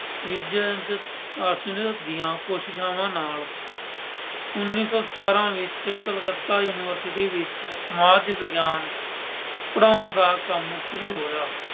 ਦੀਆਂ ਕੋਸ਼ਿਸ਼ਾਵਾਂ ਨਾਲ ਉੱਨ੍ਹੀਂ ਸੌ ਸਤਾਰਾਂ ਵਿੱਚ ਕਲਕੱਤਾ University ਵਿੱਚ ਸਮਾਜ ਵਿਗਿਆਨ ਪੜ੍ਹਾਉਣ ਦਾ ਕੰਮ ਸ਼ੁਰੂ ਹੋਇਆ।